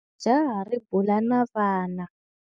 Jaha ri bula na vana.